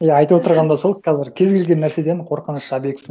иә айтып отырған да сол қазір кез келген нәрседен қорқыныш объектісін